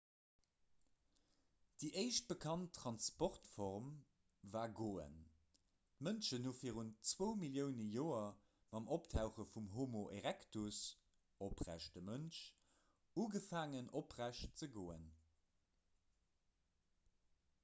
déi éischt bekannt transportform war goen; d'mënschen hu virun 2 millioune joer mam optauche vum homo erectus oprechte mënsch ugefaangen oprecht ze goen